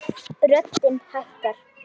Röddin hækkar.